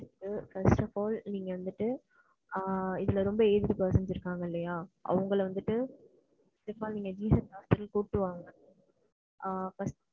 First of all நீங்க வந்துட்டு, ஆ இதுல வந்துட்டு aged person இருபங்கல்லயா அவங்கள வந்துட்டு ,